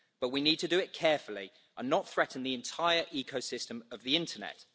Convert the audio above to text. But we need to do it carefully and not threaten the entire ecosystem of the internet.